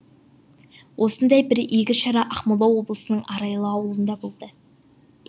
осындай бір игі шара ақмола облысының арайлы ауылында болды